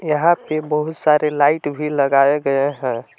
यहां पे बहुत सारे लाइट भी लगाए गए हैं।